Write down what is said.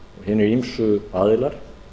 hinir ýmsu aðilar